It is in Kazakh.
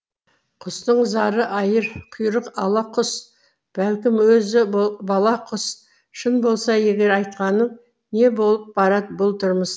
құстың зары айыр құйрық ала құс бәлкім өзі бала құс шын болса егер айтқаның не болып барад бұл тұрмыс